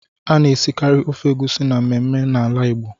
A na-esikari ofe egusi na mmemme na ala Igbo.